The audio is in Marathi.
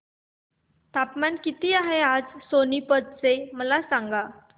तापमान किती आहे आज सोनीपत चे मला सांगा